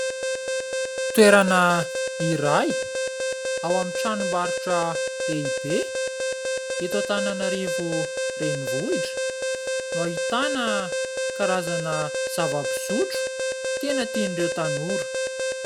Toerana iray ao amin'ny tranom-barotra lehibe eto Antananarivo renivohitra no ahitana karazana zava-pisotro tena tian'ireo tanora.